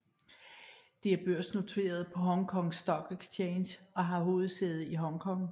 Det er børsnoteret på Hong Kong Stock Exchange og har hovedsæde i Hongkong